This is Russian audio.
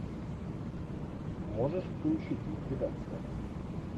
можешь включить ликвидация